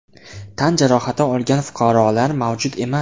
Tan jarohati olgan fuqarolar mavjud emas.